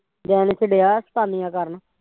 ਜੈਨਸ ਡਿਆ ਐ ਸ਼ੈਤਾਨੀਆ ਕਰਨ